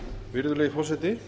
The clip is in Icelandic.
virðulegi forseti